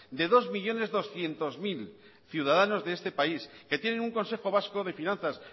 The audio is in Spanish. de dos millónes doscientos mil ciudadanos de este país que tienen un consejo vasco de finanzas